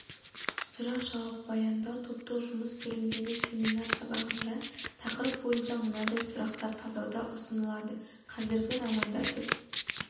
сұрақ жауап баяндау топтық жұмыс түріндегі семинар сабағында тақырып бойынша мынадай сұрақтар талдауға ұсынылады қазіргі романдар деп